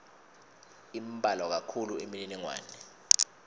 imbalwa kakhulu imininingwane